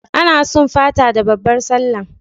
Ana sum Fata da babbar Sallah